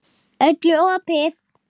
Öllum opið.